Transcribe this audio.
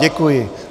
Děkuji.